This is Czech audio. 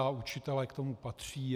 A učitelé k tomu patří.